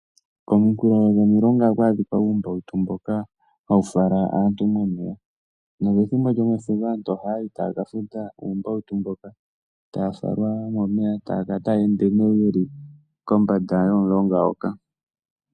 Kominkulu dhomilonga ohaku adhika uumbautu mboka hawu fala aantu momeya, nopethimbo lyefudho aantu ohaya yi taya kafuta uumbautu mboka taya falwa momeya taya kala taya ende kombanda yomulonga ngoka.